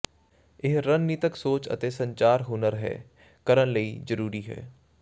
ਇਹ ਰਣਨੀਤਕ ਸੋਚ ਅਤੇ ਸੰਚਾਰ ਹੁਨਰ ਹੈ ਕਰਨ ਲਈ ਜ਼ਰੂਰੀ ਹੈ